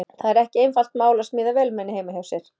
Það er ekki einfalt mál að smíða vélmenni heima hjá sér.